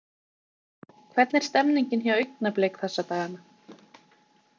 Hvernig er stemmningin hjá Augnablik þessa dagana?